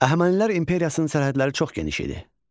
Əhəmənilər imperiyasının sərhədləri çox geniş idi.